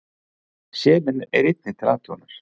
Selen er einnig til athugunar.